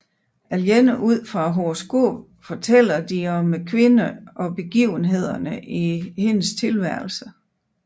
Alene ud fra horoskopet fortæller de om kvinden og begivenhederne i hendes tilværelse